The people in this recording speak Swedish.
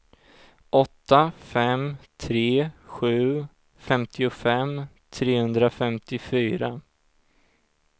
åtta fem tre sju femtiofem trehundrafemtiofyra